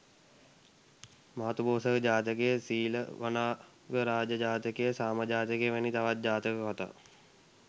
මාතුපෝසක ජාතකය, සීලවනාගරාජ ජාතකය, සාම ජාතකය, වැනි තවත් ජාතක කතා